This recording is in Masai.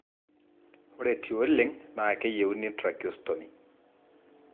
ore tioleng, na keyieuni tracheostomy.